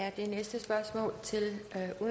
af finanslovsaftalen